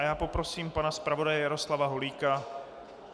A já poprosím pana zpravodaje Jaroslava Holíka.